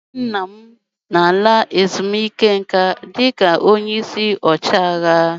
Nwanne nna m ga-ala ezumike nka dịka onye isi ọchịagha.